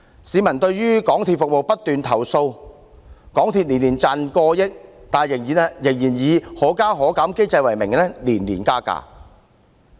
市民對港鐵服務不斷作出投訴，港鐵公司每年賺取過億元，但仍以"可加可減"機制之名，年年加價。